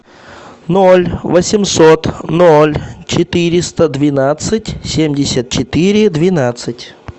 ноль восемьсот ноль четыреста двенадцать семьдесят четыре двенадцать